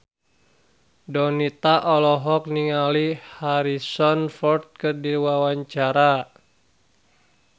Donita olohok ningali Harrison Ford keur diwawancara